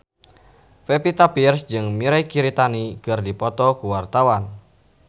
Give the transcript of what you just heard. Pevita Pearce jeung Mirei Kiritani keur dipoto ku wartawan